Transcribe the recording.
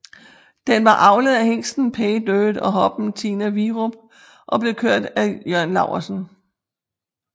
Den var avlet af hingsten Pay Dirt og hoppen Tina Virup og blev kørt af Jørn Laursen